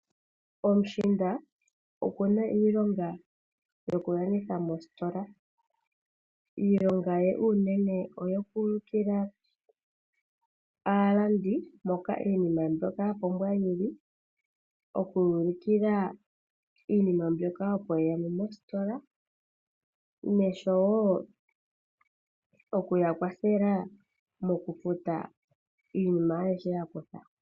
Omushiinda okuna iilonga yokulanditha mositola. Iilonga ye unene oyo kuulukila aalandi mpoka iinima mbyoka yapumbwa yili, okuyuulukila iinima mbyoka opo yeya mo mositola, noshowo mokuya kwathela mokufuta iinima ayihe yakutha.